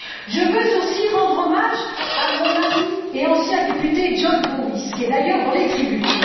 Je veux aussi rendre hommage à mon ami et ancien député John Bowis qui est d'ailleurs dans les tribunes.